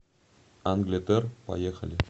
англетер поехали